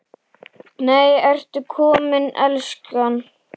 NEI, ERTU KOMIN, ELSKAN!